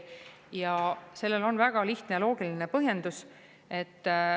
Ja sellel on väga lihtne ja loogiline põhjendus.